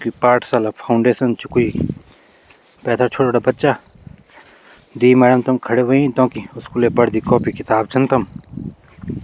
कुई पाठशाला फाउंडेशन च कुई पैथर छोटा छोटा बच्चा द्वि मैडम तमु खड़ी होईं तोंकि स्कूले वर्दी कॉपी किताब छन तम।